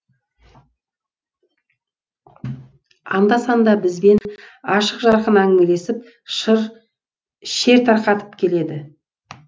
анда санда бізбен ашық жарқын әңгімелесіп шер тарқатып келеді